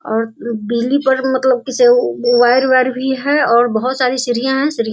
और बिली पर मतलब वायर वायर भी है और बहोत सारी सीढ़ियां है सीढ़ी --